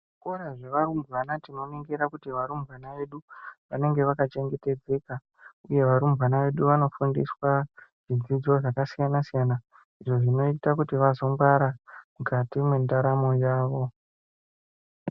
Kuzvikora zvevarumbwana tinoningira kuti varumbwana vedu vanenge vakachengetedzeka uye varumbwana vedu vanofundiswa zvidzidzo zvakasiyana siyana izvo zvinoita kuti vazongwara mukati mwendaramo yavo.